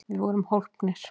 Við vorum hólpnir!